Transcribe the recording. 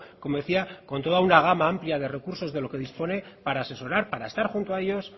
como decía con toda una gama amplia de recursos de lo que dispone para asesorar para estar junto a ellos